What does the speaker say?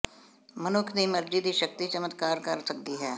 ਮਨੁੱਖ ਦੀ ਮਰਜ਼ੀ ਦੀ ਸ਼ਕਤੀ ਚਮਤਕਾਰ ਕਰ ਸਕਦੀ ਹੈ